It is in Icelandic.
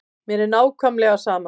Mér er svo nákvæmlega sama.